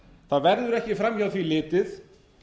það verður ekki fram hjá því litið